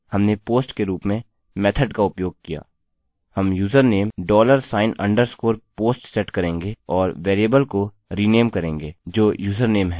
हम username dollar sign underscore post set करेंगे और वेरिएबल को रिनेम करेंगे जो username है